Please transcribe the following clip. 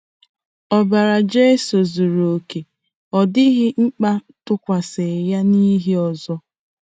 Ọbara Jizọs zuru oke, ọ dịghịkwa mkpa itụkwasị ya ihe ọzọ.